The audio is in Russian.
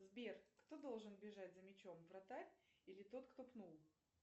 сбер кто должен бежать за мячом вратарь или тот кто пнул